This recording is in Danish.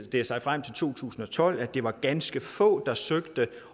det sig frem til to tusind og tolv at det var ganske få der søgte